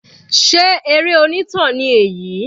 Sé eré onítàn ni èyí?